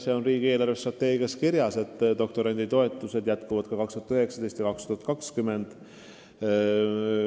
See on riigi eelarvestrateegias kirjas, et doktoranditoetused kasvavad ka aastail 2019 ja 2020.